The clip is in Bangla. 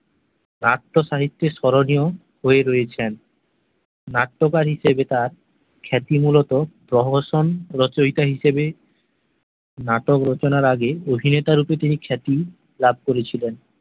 নাট্যসাহিত্যের স্মরণীয় হয়ে রয়েছেন নাট্যকার হিসেবে তার খ্যাতি মূলত প্রহসন রচয়িতা হিসাবে নাটক রচনার আগে অভিনেতা রূপে তিনি খ্যাতি লাভ করেছিলেন